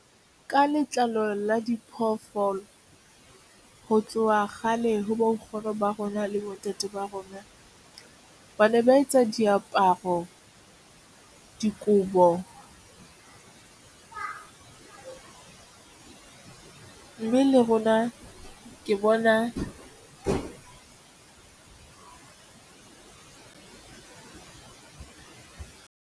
Ka letlalo la diphoofolo ho tloha kgale ho bo nkgono ba rona, le bontate ba rona ba ne ba etsa diaparo dikobo haholo mme rona ke bona.